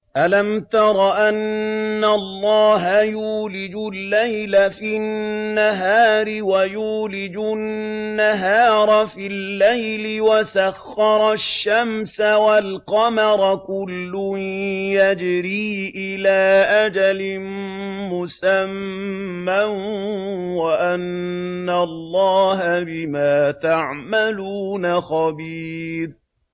أَلَمْ تَرَ أَنَّ اللَّهَ يُولِجُ اللَّيْلَ فِي النَّهَارِ وَيُولِجُ النَّهَارَ فِي اللَّيْلِ وَسَخَّرَ الشَّمْسَ وَالْقَمَرَ كُلٌّ يَجْرِي إِلَىٰ أَجَلٍ مُّسَمًّى وَأَنَّ اللَّهَ بِمَا تَعْمَلُونَ خَبِيرٌ